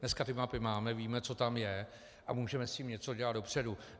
Dneska ty mapy máme, víme, co tam je, a můžeme s tím něco dělat dopředu.